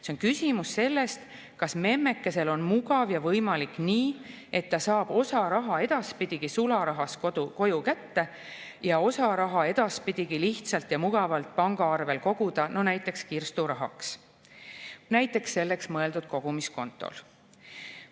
See on küsimus sellest, kas memmekesel on mugav ja võimalik nii, et ta saab osa raha edaspidigi sularahas koju kätte ja osa raha edaspidigi lihtsalt ja mugavalt pangaarvele koguda, no näiteks kirsturahaks selleks mõeldud kogumiskontole.